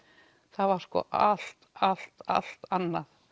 það var sko allt allt allt annað